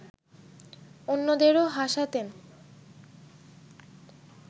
অন্যদেরও হাসাতেন